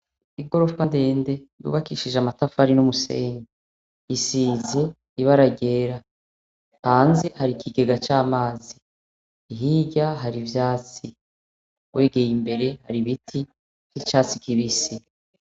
Igorofa ndende yubakishije amatafari n'umusenyi isize ibara ryera, hanze har'ikigega c'amazi, hirya har'ivyatsi, wegeye imbere har'ibiti vy'icatsi kibisi.